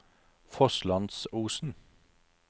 Fosslandsosen